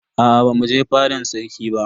Aa bamu je fadan sarki ba.